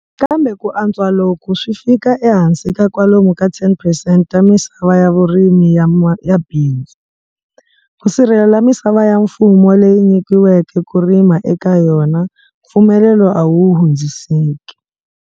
Kambe ku antswa loku swi fika ehansi ka kwalomu ka 10 percent ta misava ya vurimi ya bindzu. Ku sirhelela misava ya mfumo leyi nyikiweke ku rima eka yona, mpfumelelo a wu hundziseki.